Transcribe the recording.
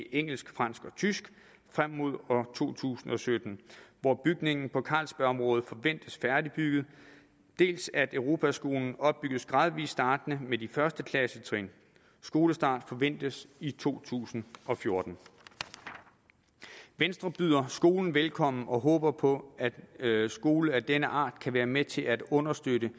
engelsk fransk og tysk frem mod år to tusind og sytten hvor bygningen på carlsbergområdet forventes færdigbygget dels at europaskolen opbygges gradvist startende med de første klassetrin skolestart forventes i to tusind og fjorten venstre byder skolen velkommen og håber på at skoler af denne art kan være med til at understøtte